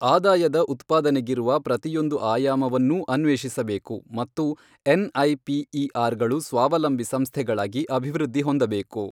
ಆದಾಯದ ಉತ್ಪಾದನೆಗಿರುವ ಪ್ರತಿಯೊಂದು ಆಯಾಮವನ್ನೂ ಅನ್ವೇಷಿಸಬೇಕು ಮತ್ತು ಎನ್ಐಪಿಇಆರ್ ಗಳು ಸ್ವಾವಲಂಬಿ ಸಂಸ್ಥೆಗಳಾಗಿ ಅಭಿವೃದ್ಧಿ ಹೊಂದಬೇಕು.